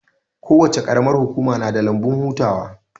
Kowace qaramar hukuma na da lambun hutawa